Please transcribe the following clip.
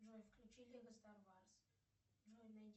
джой включи лего стар варс джой найди